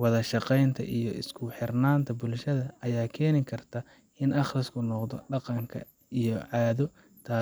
Wada shaqeynta iyo isku xirnaanta bulshada ayaa keeni karta in akhriska noqdo dhaqanka iyo caado, taasoo.